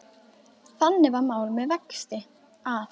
Þannig var mál með vexti, að